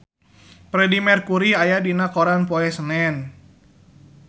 Freedie Mercury aya dina koran poe Senen